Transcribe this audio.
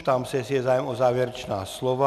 Ptám se, jestli je zájem o závěrečná slova.